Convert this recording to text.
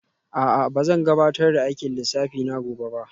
A'a ba zan gabatar da aikin lissafi na gobe ba